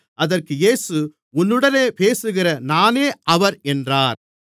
அதற்கு இயேசு உன்னுடனே பேசுகிற நானே அவர் என்றார்